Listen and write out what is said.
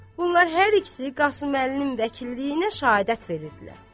Bunlar hər ikisi Qasıməlinin vəkilliyinə şəhadət verirdilər.